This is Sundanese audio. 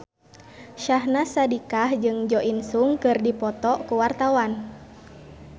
Syahnaz Sadiqah jeung Jo In Sung keur dipoto ku wartawan